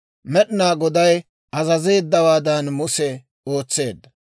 Med'inaa Goday azazeeddawaadan Muse ootseedda.